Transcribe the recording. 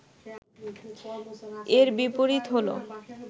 এর বিপরীত হল